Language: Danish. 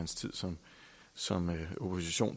samme